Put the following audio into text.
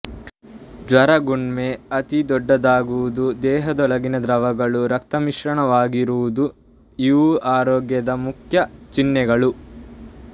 ಜ್ವರ ಗುಲ್ಮ ಅತಿ ದೊಡ್ಡದಾಗುವುದು ದೇಹದೊಳಗಿನ ದ್ರವಗಳು ರಕ್ತಮಿಶ್ರಿತವಾಗಿರುವುದು ಇವು ಈ ರೋಗದ ಮುಖ್ಯ ಚಿಹ್ನೆಗಳು